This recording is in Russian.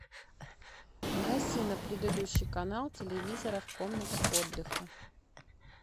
гаси на предыдущий канал телевизора в комнате отдыха